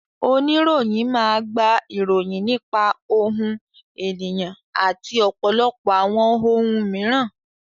Oníròyìn máa gba ìròyìn nípa ohun, ènìyàn, àti ọ̀pọ̀lọpọ̀ àwọn ohun mìíràn.